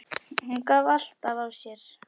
Hún gaf alltaf af sér.